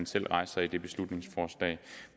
selv rejser i det beslutningsforslag